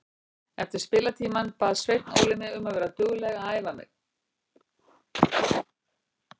Eftir spilatímann bað Sveinn Óli mig um að vera dugleg að æfa mig.